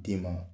Den ma